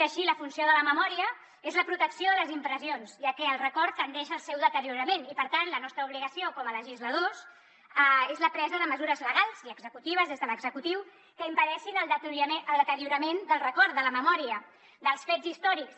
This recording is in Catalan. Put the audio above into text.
així la funció de la memòria és la protecció de les impressions ja que el record tendeix al seu deteriorament i per tant la nostra obligació com a legisladors és la presa de mesures legals i executives des de l’executiu que impedeixin el deteriorament del record de la memòria dels fets històrics